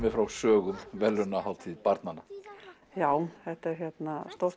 frá sögum verðlaunahátíð barnanna já þetta er stórt